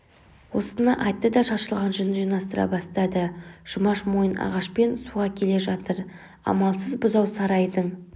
осыны айтты да шашылған жүнін жинастыра бастады жұмаш мойын ағашпен суға келе жатыр амалсыз бұзау сарайдың